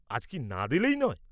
আজ কি না দিলেই নয়?